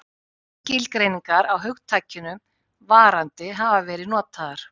Ýmsar skilgreiningar á hugtakinu varandi hafa verið notaðar.